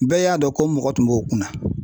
Bɛɛ y'a dɔn ko mɔgɔ tun b'o kunna.